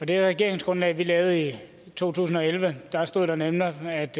det regeringsgrundlag vi lavede i to tusind og elleve stod der nemlig at